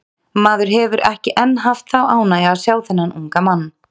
Maður hefur ekki enn haft þá ánægju að sjá þennan unga mann.